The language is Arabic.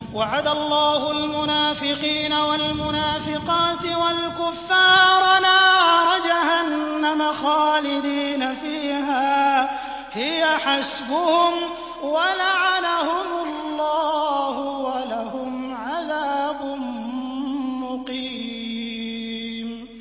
وَعَدَ اللَّهُ الْمُنَافِقِينَ وَالْمُنَافِقَاتِ وَالْكُفَّارَ نَارَ جَهَنَّمَ خَالِدِينَ فِيهَا ۚ هِيَ حَسْبُهُمْ ۚ وَلَعَنَهُمُ اللَّهُ ۖ وَلَهُمْ عَذَابٌ مُّقِيمٌ